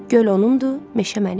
Göl onun, meşə mənim."